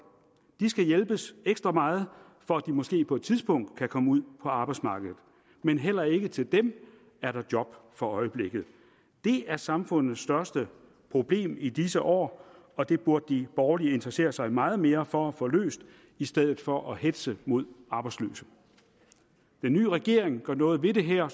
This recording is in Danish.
de skal hjælpes ekstra meget for at de måske på et tidspunkt kan komme ud på arbejdsmarkedet men heller ikke til dem er der job for øjeblikket det er samfundets største problem i disse år og det burde de borgerlige interessere sig meget mere for at få løst i stedet for at hetze mod arbejdsløse den nye regering gør noget ved det her